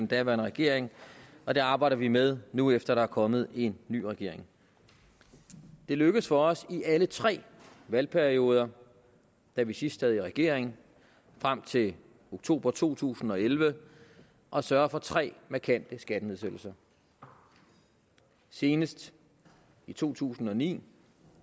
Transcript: daværende regering og det arbejder vi med nu efter der er kommet en ny regering det er lykkedes for os i alle tre valgperioder da vi sidst sad i regering frem til oktober to tusind og elleve at sørge for tre markante skattenedsættelser senest i to tusind og ni